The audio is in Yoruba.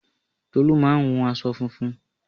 Tolú máa hun aṣọ funfun